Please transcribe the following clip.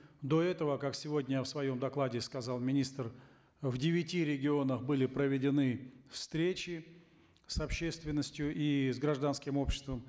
до этого как сегодня в своем докладе сказал министр в девяти регионах были проведены встречи с общественностью и с гражданским обществом